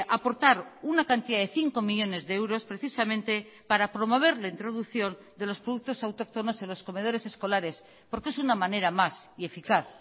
aportar una cantidad de cinco millónes de euros precisamente para promover la introducción de los productos autóctonos en los comedores escolares porque es una manera más y eficaz